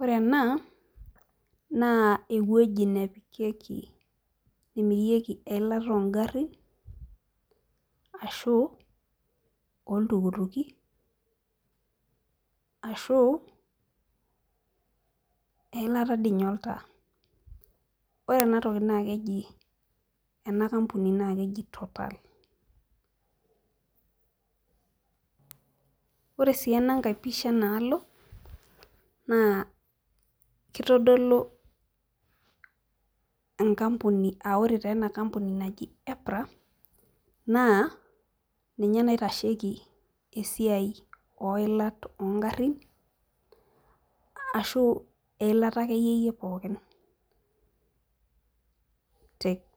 Ore ena naa ewueji nemirieki ekiata oogarin ashu olltukutuki ashu eilata dii ninye oltaa. ore ena toki naa keji ena kampuni naa keji total. ore sii enankae pisha enaalo naa kitodolu enkampuni, ore taa ena kampuni naji epra naa ninye naitasheki enkampuni oilat oogarin. ashu eilata akeyieyei pookin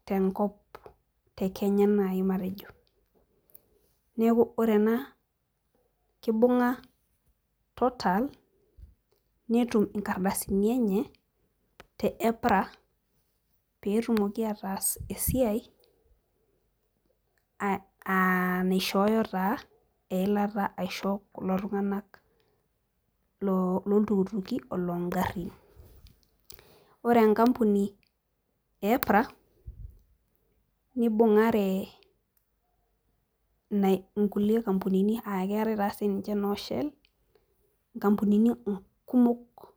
tenakop te Kenya naji matejo. neeku ore ena kibunga total netum nkardasini enye te epara pee etumoki ataas esiai naishooyo taa eilata aisho kulo tunganak looltukituki oloogarin. ore enkampuni e epra nibungare Ina nkulie kampunini aa keetae taa noo shell .nkampunini kumok.